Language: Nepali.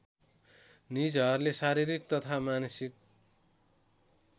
निजहरूले शारीरिक तथा मानसिक